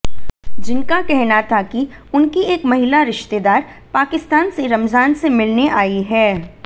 जिनका कहना था कि उनकी एक महिला रिश्तेदार पाकिस्तान से रमजान से मिलने आई हैं